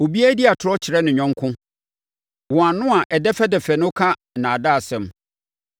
Obiara di atorɔ kyerɛ ne yɔnko; wɔn ano a ɛdɛfɛdɛfɛ no ka nnaadaasɛm.